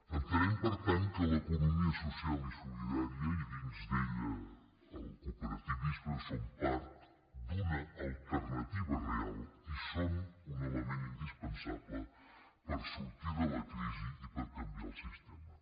entenem per tant que l’economia social i solidària i dins d’ella el cooperativisme són part d’una alternativa real i són un element indispensable per sortir de la crisi i per canviar el sistema